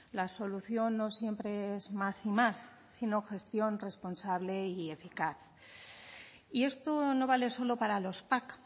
la solución no siempre es más y más sino gestión responsable y eficaz y esto no vale solo para los pac